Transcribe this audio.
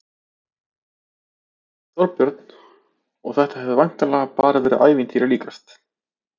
Þorbjörn: Og þetta hefur væntanlega bara verið ævintýri líkast?